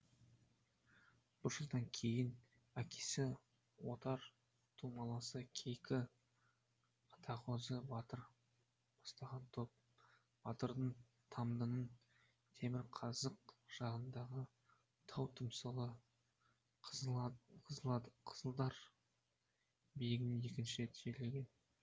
бір жылдан кейін әкесі отар тумаласы кейкі атағозы батыр бастаған топ батырды тамдының темірқазық жағындағы тау тұмсығы қызыладыр биігіне екінші рет жерлеген